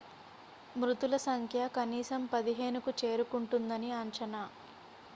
మృతుల సంఖ్య కనీసం 15కు చేరుకుంటుందని అంచనా